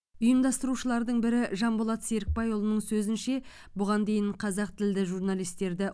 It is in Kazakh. ұйымдастырушылардың бірі жанболат серікбайұлының сөзінше бұған дейін қазақ тілді журналистерді